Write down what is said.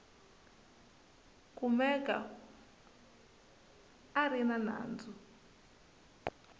kumeka a ri na nandzu